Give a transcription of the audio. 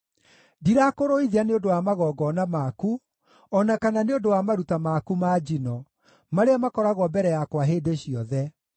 Ndirakũrũithia nĩ ũndũ wa magongona maku, o na kana nĩ ũndũ wa maruta maku ma njino, marĩa makoragwo mbere yakwa hĩndĩ ciothe.